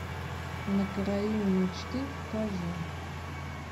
на краю мечты покажи